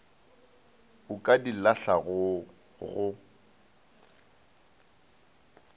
o ka di lahlago o